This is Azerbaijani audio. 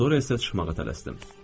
Sonra isə çıxmağa tələsdim.